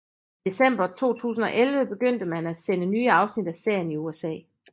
I december 2011 begyndte man at sende nye afsnit af serien i USA